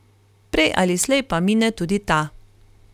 Prej ali slej pa mine tudi ta.